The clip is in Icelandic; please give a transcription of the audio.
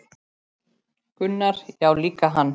Gunnar: Já líka hann